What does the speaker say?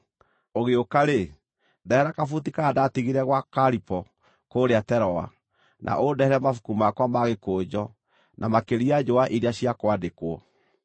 Ũgĩũka-rĩ, ndehera kabuti karĩa ndatigire gwa Karipo kũrĩa Teroa, na ũndehere mabuku makwa ma gĩkũnjo, na makĩria njũa iria cia kwandĩkwo.